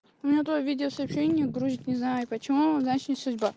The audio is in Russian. меня твоё видео-сообщение не грузит не знаю почему значит не судьба